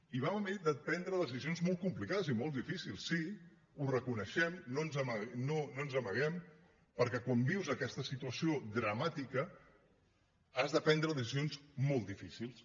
i vam haver de prendre decisions molt complicades i molt difícils sí ho reconeixem no ens n’amaguem perquè quan vius aquesta situació dramàtica has de prendre decisions molt difícils